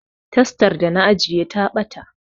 Tastar da na ajiye ta ɓata